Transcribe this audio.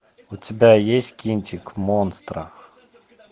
у тебя есть кинчик монстро